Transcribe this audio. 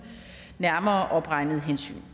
nærmere opregnede hensyn